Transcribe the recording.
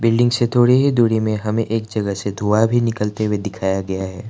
Building से थोड़ी ही दूरी में हमें एक जगह से धुआं भी निकलते हुए दिखाया गया है।